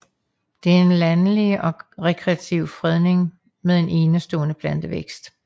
Det er en landskabelig og rekreativ fredning med en enestående plantevækst